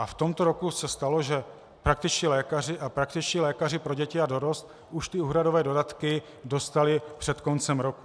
A v tomto roce se stalo, že praktičtí lékaři a praktičtí lékaři pro děti a dorost už ty úhradové dodatky dostali před koncem roku.